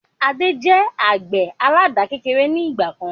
Adé jẹ àgbẹ̀ àládà kékeré ni ìgbàkan